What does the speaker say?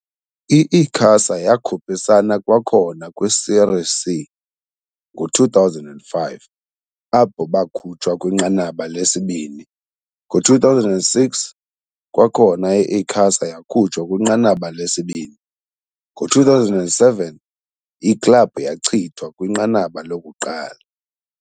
I-Icasa yakhuphisana kwakhona kwi-Série C ngo-2005, apho bakhutshwa kwinqanaba lesibini, ngo-2006, kwakhona i-Icasa yakhutshwa kwinqanaba lesibini, ngo-2007, iklabhu yachithwa kwinqanaba lokuqala.